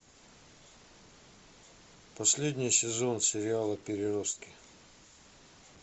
последний сезон сериала переростки